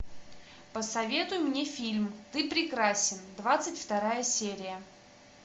посоветуй мне фильм ты прекрасен двадцать вторая серия